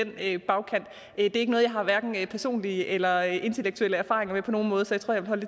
er ikke noget jeg har personlige eller intellektuelle erfaringer med på nogen måde så